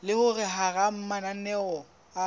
le hore hara mananeo a